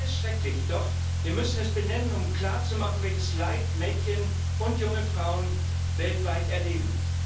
Alles schrecklich! Doch wir müssen es benennen, um klarzumachen, welches Leid Mädchen und junge Frauen weltweit erleben.